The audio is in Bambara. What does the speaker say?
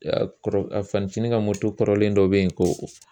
kɔrɔ, a fa ncini ka moto kɔrɔlen dɔ be yen ko